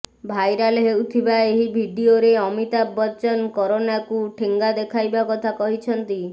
viral ହେଉଥିବା ଏହି ଭିଡିଓରେ ଅମିତାଭ ବଚ୍ଚନ କରୋନାକୁ ଠେଙ୍ଗା ଦେଖାଇବା କଥା କହିଛନ୍ତି